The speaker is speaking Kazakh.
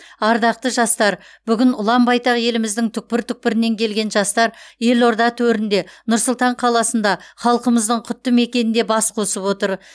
ардақты жастар бүгін ұлан байтақ еліміздің түкпір түкпірінен келген жастар елорда төрінде нұр сұлтан қаласында халқымыздың құтты мекенінде бас қосып отыр